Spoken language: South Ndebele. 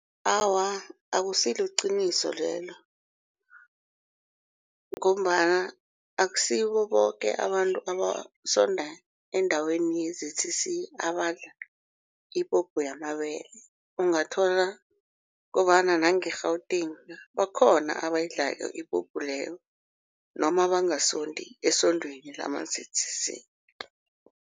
Awa, akusiliqiniso lelo ngombana akusibo boke abantu abasonda endaweni ye-Z_C_C abadla ipuphu yamabele. Ungathola kobana nange-Gauteng bakhona abayidlako ipuphu leyo noma bangasondi esondweni lama-Z_C_C.